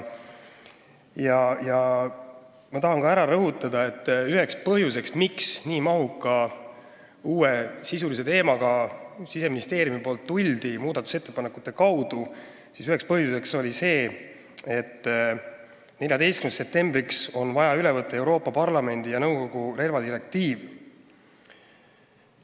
Ma tahan ka rõhutada, et üks põhjus, miks Siseministeerium nii mahuka uue sisulise teemaga muudatusettepanekute kaudu välja tuli, oli see, et 14. septembriks on vaja üle võtta Euroopa Parlamendi ja nõukogu relvadirektiiv.